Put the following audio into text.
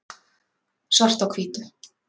svart á hvítu